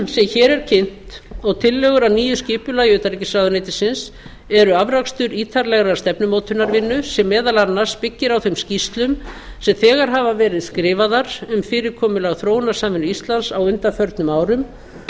sem hér er kynnt og tillögur að nýju skipulagi utanríkisráðuneytisins eru afrakstur ítarlegrar stefnumótunarvinnu sem meðal annars byggir á þeim skýrslum sem þegar hafa verið skrifaðar um fyrirkomulag þróunarsamvinnu íslands á undanförnum árum